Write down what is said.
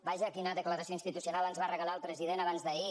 vaja quina declaració institucional ens va regalar el president abans d’ahir